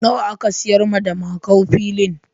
Nawa aka sayar ma da Makau filin?